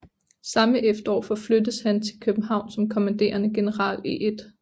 Samme efterår forflyttedes han til København som kommanderende general i 1